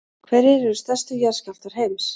hverjir eru stærstu jarðskjálftar heims